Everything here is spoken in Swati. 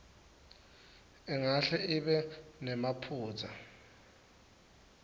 ingahle ibe nemaphutsa